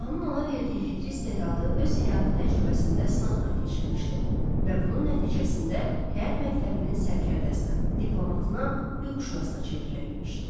Allahın ona verdiyi fitri istedadı öz həyatı təcrübəsində sınaqdan keçirmişdi və bunun nəticəsində həyat məktəbinin sərkərdəsinə, diplomatına, hüquqşünasına çevrilə bilmişdi.